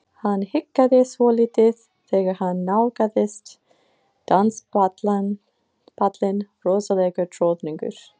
Hann hikaði svolítið þegar hann nálgaðist danspallinn rosalegur troðningur.